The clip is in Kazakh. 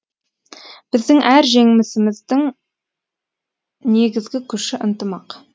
біздің әр жеңісіміздің негізгі күші ынтымақ